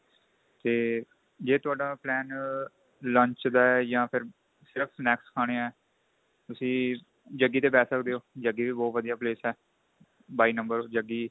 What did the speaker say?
ਤੇ ਜੇ ਤੁਹਾਡਾ plain lunch ਦਾ ਜਾਂ snacks ਖਾਣੇ ਏ ਤੁਸੀਂ jaggi ਤੇ ਬੈ ਸਕਦੇ ਓ jaggi ਵੀ ਬਹੁਤ ਵਧੀਆ place ਏ ਬਾਈ number jaggi